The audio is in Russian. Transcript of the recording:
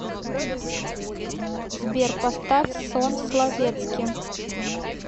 сбер поставь сон словетски